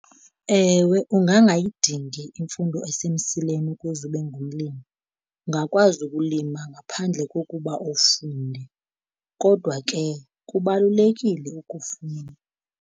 Ewe, ungangayidingi imfundo esemsileni ukuze ube ngumlimi. Ungakwazi ukulima ngaphandle kokuba ufunde, kodwa ke kubalulekile ukufunda.